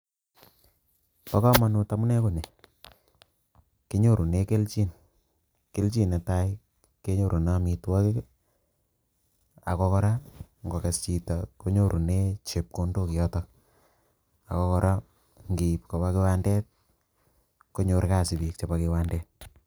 Bokomanut amunee konii, kinyorunei kelchin nee tai kenyorunei amitwokik ak ko koraa ngo kess chito kinyorunei chepkondok nyotok ak ko kora nkiib koba kiwandet konyor kasit biik chebo kiwandet